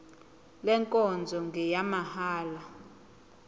le nkonzo ngeyamahala